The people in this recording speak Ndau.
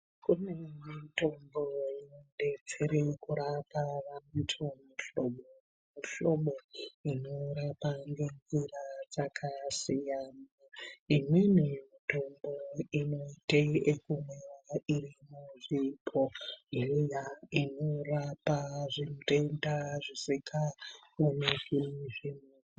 Kune mitombo inobetsere kurapa vantu mihlobo nemihlobo inorapa nenjira dzakasiyana. Imweni mitombo inoite kumwiva iri muzvibhodhlera, inorapa zvitenda zvisikaoneki.